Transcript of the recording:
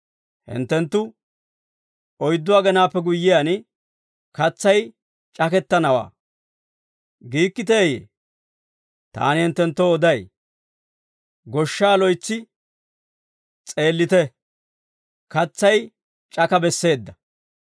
Hinttenttu, ‹Oyddu agenaappe guyyiyaan, katsay c'akettanawaa› giikkiteeyee? Taani hinttenttoo oday; goshshaa loytsi s'eellite; katsay c'aka besseedda.